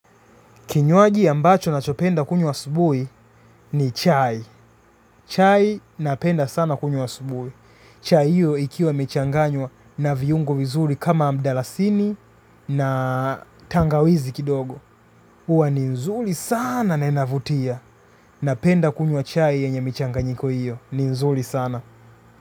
Kinywaji ambacho nachopenda kunywa asubuhi ni chai chai napenda sana kunywa asubuhi chai hiyo ikiwa imechanganywa na viungo vizuri kama mdalasini na tangawizi kidogo huwa ni nzuri sana na inavutia napenda kunywa chai yenye michanganyiko hiyo ni mzuri sana.